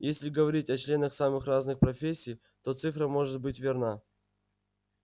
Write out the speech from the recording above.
если говорить о членах самых разных профессий то цифра может быть верна